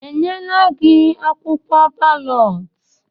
Enyela gị akwụkwọ balọt?